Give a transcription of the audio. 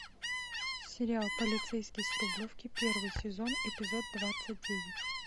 сериал полицейский с рублевки первый сезон эпизод двадцать девять